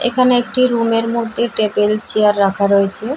এখানে একটা রুম -এর মধ্যে টেবিল চেয়ার রাখা রয়েছে ।